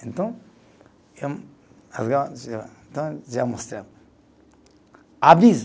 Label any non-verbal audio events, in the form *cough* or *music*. Então, já *unintelligible* já mostrei. *unintelligible*